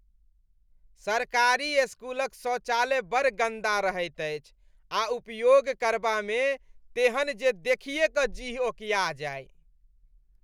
सरकारी स्कूलक शौचालय बड़ गन्दा रहैत अछि आ उपयोग करबामे तेहन जे देखिए कऽ जीह ओकिया जाय।